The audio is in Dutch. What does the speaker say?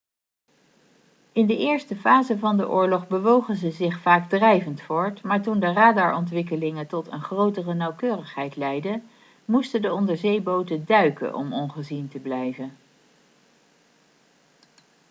in de eerste fase van de oorlog bewogen ze zich vaak drijvend voort maar toen de radarontwikkelingen tot een grotere nauwkeurigheid leidden moesten de onderzeeboten duiken om ongezien te blijven